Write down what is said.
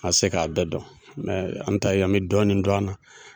Ma se k'a bɛɛ dɔn mɛ an ta ye an be dɔɔnin dɔn a nan